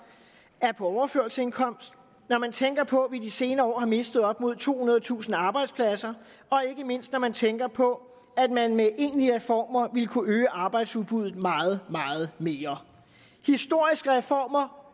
er på overførselsindkomst når man tænker på at de senere år har mistet op mod tohundredetusind arbejdspladser og ikke mindst når man tænker på at man med egentlige reformer ville kunne øge arbejdsudbuddet meget meget mere historiske reformer